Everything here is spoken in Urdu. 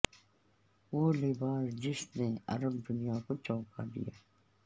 وہ لباس جس نے عرب دنیا کو چونکا دیا